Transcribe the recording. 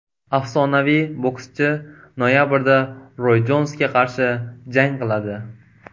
Afsonaviy bokschi noyabrda Roy Jonsga qarshi jang qiladi.